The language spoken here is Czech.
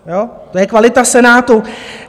To je kvalita Senátu.